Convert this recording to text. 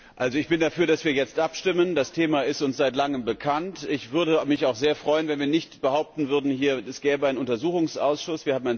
Frau Präsidentin! Ich bin dafür, dass wir jetzt abstimmen. Das Thema ist uns seit Langem bekannt. Ich würde mich auch sehr freuen, wenn wir hier nicht behaupten würden, es gäbe einen Untersuchungsausschuss.